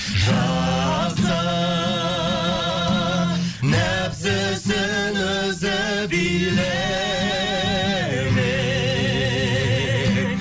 жақсы нәпсісін өзі билемек